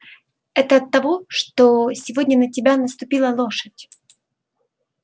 это оттого что сегодня на тебя наступила лошадь